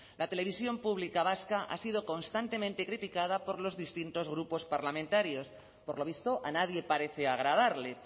la televisión pública vasca ha sido constantemente criticada por los distintos grupos parlamentarios por lo visto a nadie parece agradarle